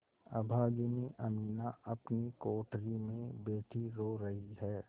अभागिनी अमीना अपनी कोठरी में बैठी रो रही है